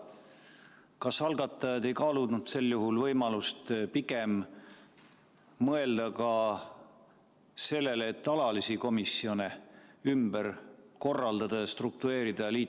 Kas algatajad ei kaalunud sel juhul võimalust pigem mõelda ka sellele, et alalisi komisjone ümber korraldada ja -struktureerida?